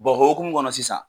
o hukumu kɔnɔ sisan